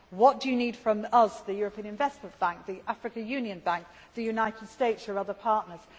get? What do you need from us, the European Investment Bank, the African Union Bank, the United States, your other partners?